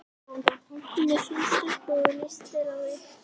Hún er fín stelpa og líst vel á þig.